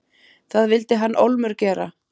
Það vildi hann ólmur gera.